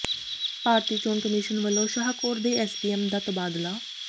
ਭਾਰਤੀ ਚੋਣ ਕਮਿਸ਼ਨ ਵੱਲੋਂ ਸ਼ਾਹਕੋਟ ਦੇ ਐਸ ਡੀ ਐਮ ਦਾ ਤਬਾਦਲਾ